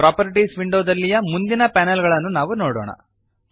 properties ವಿಂಡೋದಲ್ಲಿಯ ಮುಂದಿನ panel ಗಳನ್ನು ನಾವು ನೋಡೋಣ